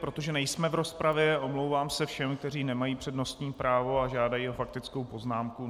Protože nejsme v rozpravě, omlouvám se všem, kteří nemají přednostní právo a žádají o faktickou poznámku.